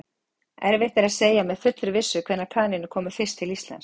Erfitt er að segja með fullri vissu hvenær kanínur komu fyrst til Íslands.